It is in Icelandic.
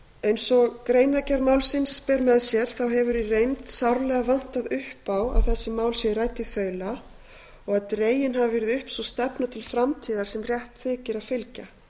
eins og greinargerð málsins ber með sér hefur í reynd sárlega vantað upp á að þessi mál séu rædd í þaula og að dregin hafi verið upp sú stefna til framtíðar sem rétt þykir að fylgja